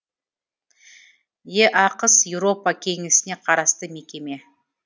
еақс еуропа кеңесіне қарасты мекеме